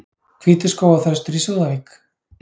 Hvítur skógarþröstur í Súðavík